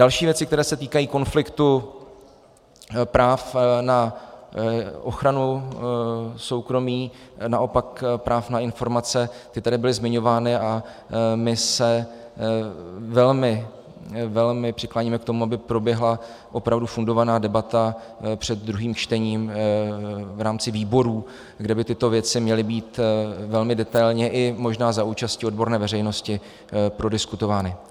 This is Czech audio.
Další věci, které se týkají konfliktu práv na ochranu soukromí, naopak práv na informace, ty tady byly zmiňovány a my se velmi přikláníme k tomu, aby proběhla opravdu fundovaná debata před druhým čtením v rámci výborů, kde by tyto věci měly být velmi detailně, i možná za účasti odborné veřejnosti, prodiskutovány.